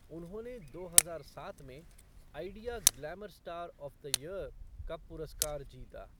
उन्होंने दो हजार सात में Idea glamour star of the year का पुरस्कार जीता।